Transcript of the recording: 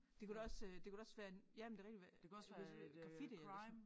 Det kunne da også øh det kunne være en jamen det rigtigt hvad øh grafitti eller sådan noget